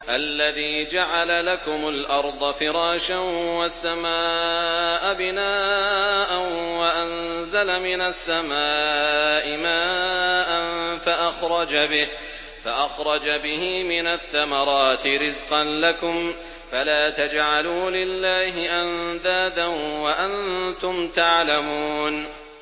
الَّذِي جَعَلَ لَكُمُ الْأَرْضَ فِرَاشًا وَالسَّمَاءَ بِنَاءً وَأَنزَلَ مِنَ السَّمَاءِ مَاءً فَأَخْرَجَ بِهِ مِنَ الثَّمَرَاتِ رِزْقًا لَّكُمْ ۖ فَلَا تَجْعَلُوا لِلَّهِ أَندَادًا وَأَنتُمْ تَعْلَمُونَ